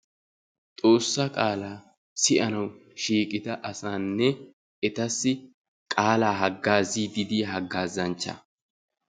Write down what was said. Xoossa qaala siyyanaw shiiqida asanne etassi qaala hagazzidi diyaa hagazzanchcha.